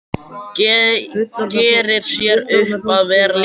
Gerir sér upp að vera léttur.